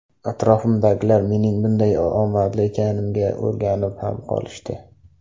Atrofimdagilar mening bunday omadli ekanimga o‘rganib ham qolishdi.